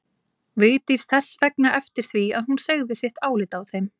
Vigdís þess vegna eftir því að hún segði sitt álit á þeim.